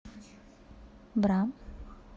бра